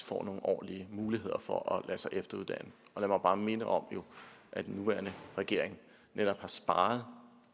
får nogle ordentlige muligheder for at lade sig efteruddanne lad mig bare minde om at den nuværende regering netop har sparet